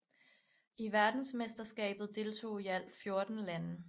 I verdensmesterskabet deltog i alt 14 lande